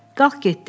Qalx getdik.